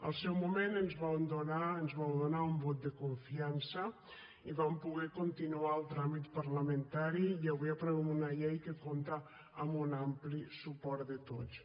al seu moment ens vau donar un vot de confiança i vam poder continuar el tràmit parlamentari i avui aprovem una llei que compta amb un ampli suport de tots